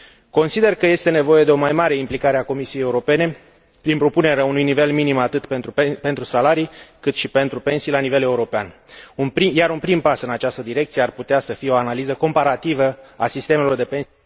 Consider că este nevoie de o mai mare implicare a Comisiei Europene prin propunerea unui nivel minim atât pentru salarii, cât și pentru pensii la nivel european, iar un prim pas în această direcție l ar putea constitui o analiză comparativă a sistemelor de pensie.